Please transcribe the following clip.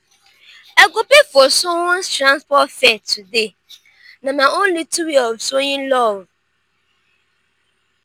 i go pay for someone's transport fare today na my own little way of showing love.